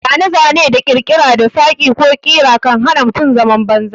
Zane-zane da ƙirkira na saƙi ko ƙira kan hana mutum zaman banza.